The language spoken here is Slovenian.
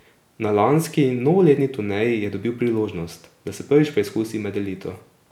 Na lanski novoletni turneji je dobil priložnost, da se prvič preizkusi med elito.